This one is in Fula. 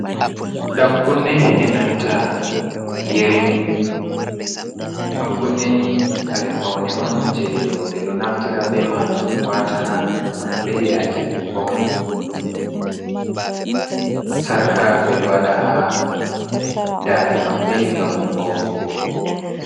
Ɗan kunne e nanta yerimum, ɗan kunne ni kare faune on, je roɓe ɗo naftira be maajum, wata haa noppi maɓɓe yake ɗum fauni, sarƙa ɓe ɗo waɗa haa daande maɓɓe ngam faunugo.